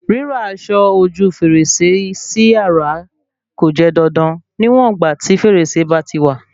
Ríra aṣọ ojú fèrèsé si yàrá kò jẹ́ dandan níwọ̀n ìgbà tí fèrèsé bá ti wà